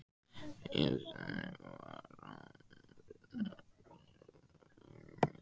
Einu sinni var hún snoturt fiskiþorp.